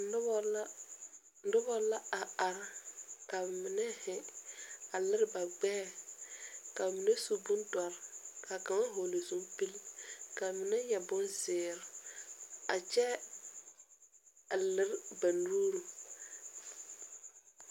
Noba la a are a lere ba gbɛɛ ka mine su bondoɔre ka mine yɛre bonzeere a kyɛ a lere ba nuuri .